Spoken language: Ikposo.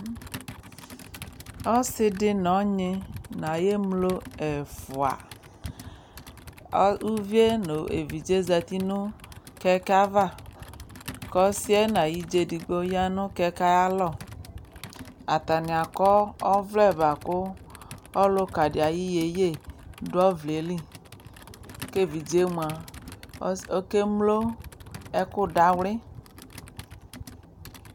ɔsidi nɔnyi nayɛmlo ʒƒʋa ɔ ʋvie nʋ ʒvidze ƶatinʋ ʋtʋvegele ava kɔsiɛ na yiɖƶa ʒɖigbo ya nʋ ʋtʋvegele ava atani akɔ ɔvlɛ bakʋ ɔlʋkaɖi ayʋ yeyedʋ ɔvlɛli ʒviɖzemʋa ɔkemlo ɛkʋfawli